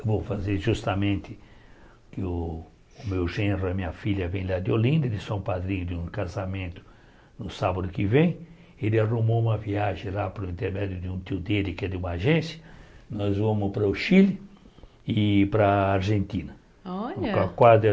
que eu vou fazer justamente, que o meu gênero e a minha filha vêm lá de Olinda, eles são padrinhos de um casamento no sábado que vem, ele arrumou uma viagem lá pelo intermédio de um tio dele que é de uma agência, nós vamos para o Chile e para a Argentina. Olha